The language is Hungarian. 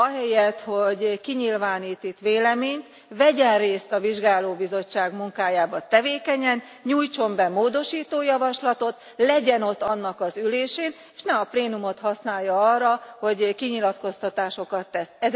Ahelyett, hogy kinyilvánít itt véleményt, vegyen részt a vizsgálóbizottság munkájában tevékenyen, nyújtson be módosító javaslatot, legyen ott annak az ülésén, s ne a plénumot használja arra, hogy kinyilatkoztatásokat tesz.